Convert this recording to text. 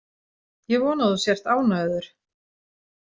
Ég vona að þú sért ánægður.